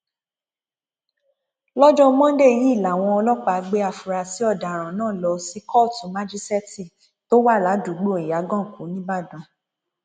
lọjọ ajé monde yìí làwọn ọlọpàá gbé àfúrásì ọdaràn náà lọ sí kóòtù májíṣẹẹtì tó wà ládùúgbò ìyàgànkù nìbàdàn